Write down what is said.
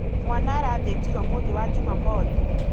Mwana arathĩnjirwo mũthĩ wa jumamothi.